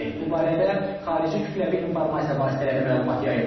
Bu barədə xarici kütləvi informasiya vasitələri məlumat yayıb.